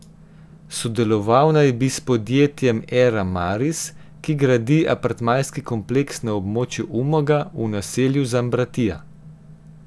Sodeloval naj bi s podjetjem Era Maris, ki gradi apartmajski kompleks na območju Umaga, v naselju Zambratija.